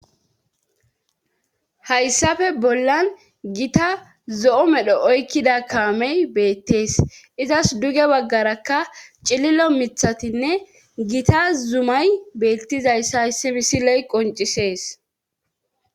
Hayssafe bollan gita zo7o medho oykkida kaamey beettees izas duge baggarakka cililo mithatinne gita zumay beettizayss hayssi misile qoncisees.